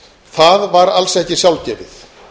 það var alls ekki sjálfgefið